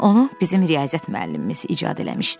Onu bizim riyaziyyat müəllimimiz icad eləmişdi.